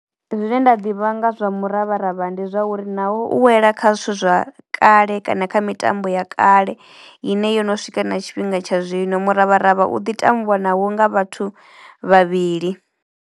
Zwine nda ḓivha nga zwa muravharavha ndi zwa uri naho u wela kha zwithu zwa kale kana kha mitambo ya kale ine yo no swika na tshifhinga tsha zwino. Muravharavha u ḓi tambwa naho nga vhathu vhavhili.